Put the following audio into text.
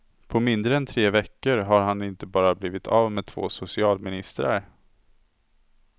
På mindre än tre veckor har han inte bara blivit av med två socialministrar.